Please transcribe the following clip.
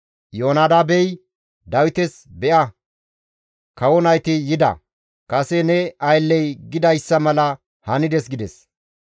Iyoonadaabey Dawites, «Be7a kawo nayti yida; kase ne aylley gidayssa mala hanides» gides.